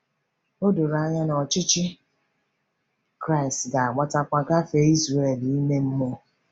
O doro anya na ọchịchị Kraịst ga-agbatakwa gafee Izrel ime mmụọ.